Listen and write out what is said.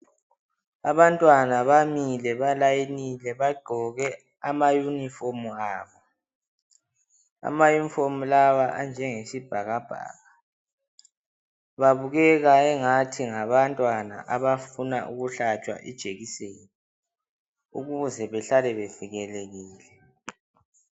Abantwana bamile. Balayinile. Bagqoke ama uniform abo. Amauiform lawa anjengesibhakabhaka. Babukeka njengabantwana abafuna ukuhlatshwa lijekiseni, ukuze bahlale bevikelekile.